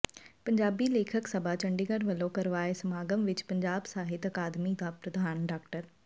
ਪੰਜਾਬੀ ਲੇਖਕ ਸਭਾ ਚੰਡੀਗੜ੍ਹ ਵੱਲੋਂ ਕਰਵਾਏ ਸਮਾਗਮ ਵਿੱਚ ਪੰਜਾਬ ਸਾਹਿਤ ਅਕਾਦਮੀ ਦੀ ਪ੍ਰਧਾਨ ਡਾ